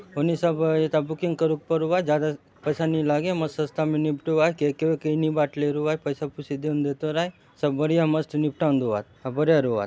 ओनी सब एता बुकिंग करु करुआत ज्यादा नी लागे मस्त सस्ता में निपटुआय केक वेके नइ बाटले रुआय पइसा पूसी देन देत रुआय सब बढ़िया मस्त निपटान दुआत अउ बढ़िया रुआत --